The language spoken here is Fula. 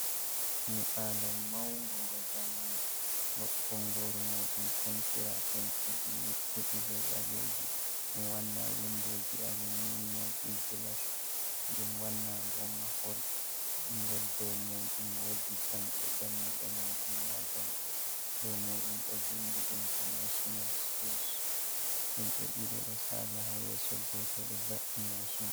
Nyiɓaalo maungo ngo zamanu, bongoru muuɗum pentira pentiiji nyiɓɓuɗi, be ɓalleji, ɗum waana windooji alumiinium ɗi gilas, ɗum wanna bo mahol ngol dow muuɗum woodi jamɗe, dammuɗe muuɗum ma jamɗe dow muuɗum ɗo vindi intanaachinal skools, himɓe ɗiɗo ɗo saala ha yeso, gooto ɗo va’i maashin.